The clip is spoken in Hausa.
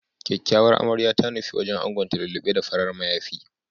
Kyakyawar Amarya ta nufi wajen angonta lullu6e da farar mayafi.